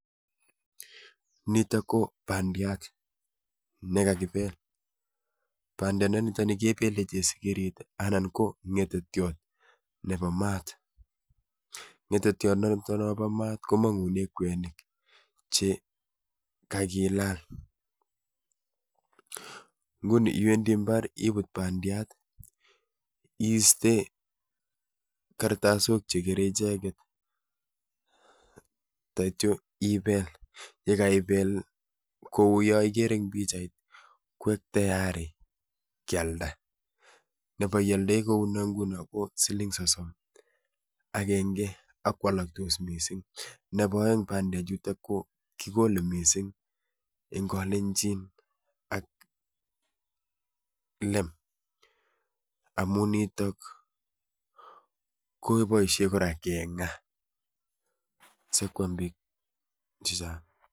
Nitoo ko bandiat nekakibeel bandiat nitoon nii kebeleen sikirii anan ko ngetetiat nebo maat , ngetetiat nitoon bo maat komanguneen kwenik che kagilaal nguni iwendii mbaar ibuut bandiat iistee karstasiok che kerei ichegeet taityaa ibeel ye kaibeel ko yaan igere en pichait ko tiayari keyaldaa, nebo iyaldai nguno neuu noon ko sosom agengee ak ko alaktos missing nebo aeng pandeek chutoo ko kikolee missing en kalenjin ak leem amuun nitoo kobaishe kora komuuch kengaa sikwaam biik chechaang.